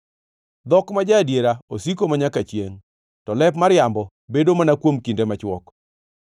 Dhok ma ja-adiera osiko manyaka chiengʼ, to lep mariambo bedo mana kuom kinde machwok.